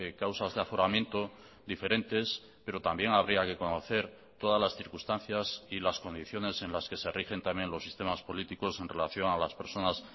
causas de aforamiento diferentes pero también habría que conocer todas las circunstancias y las condiciones en las que se rigen también los sistemas políticos en relación a las personas